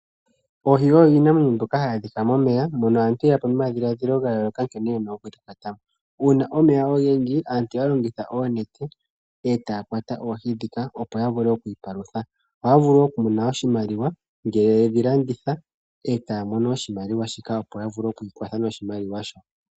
Oohi oyo iinamwenyo mbyoka hayi adhika momeya, mono aantu ye yapo nomadhiladhilo gayooloka nkene yena okudhi kwata mo. Uuna omeya ogendji aantu ohaya longitha oonete e taya kwata oohi dhika opo ya vule oku ipalutha. Ohaya vulu wo okumona oshimaliwa ngele yedhi landitha e taya mono oshimaliwa shika, opo ya vule oku ikwatha noshimaliwa shoka.